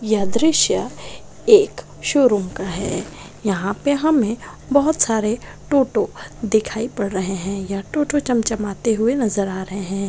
यह दृश्य एक शोरूम का है यहाँ पे हमें बहुत सारे टोटो दिखाई पड़ रहें हैं यह टोटो चमचमाते हुए नजर आ रहें हैं।